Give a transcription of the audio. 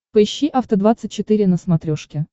поищи афта двадцать четыре на смотрешке